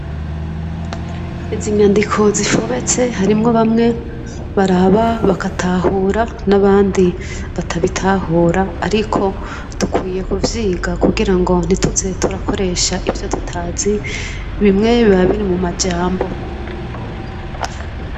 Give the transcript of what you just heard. Izi nyandiko zifobetse hariho bamwe baraba bagatahura n'abandi batabitahura ariko dukwiye kuvyiga kugirango ntituze turakoresha ivyo tutazi bimwe biba biri mu majambo